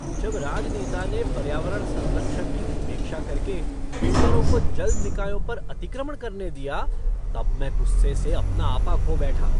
जब राजनेता ने पर्यावरण संरक्षण की उपेक्षा कर के बिल्डरों को जल निकायों पर अतिक्रमण करने दिया तब मैं गुस्से से अपना आपा खो बैठा।